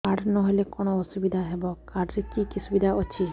card ନହେଲେ କଣ ଅସୁବିଧା ହେବ କାର୍ଡ ରେ କି କି ସୁବିଧା ଅଛି